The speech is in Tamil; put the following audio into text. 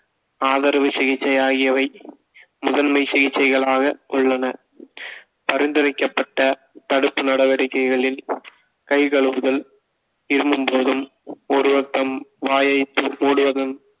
ஆதரவ சிகிச்சை ஆகியவை முதன்மை சிகிச்சைகளாக உள்ளன பரிந்துரைக்கப்பட்ட தடுப்பு நடவடிக்கைகளில் கை கழுவுதல் இருமும் போதும் ஒரு பக்கம் வாயை மூடுவதும்